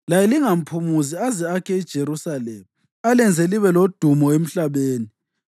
laye lingamphumuzi aze akhe iJerusalema alenze libe lodumo emhlabeni.